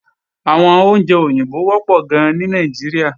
Àwọn oúnjẹ òyìnbó wọ́pọ̀ gan ní Nàìjíríà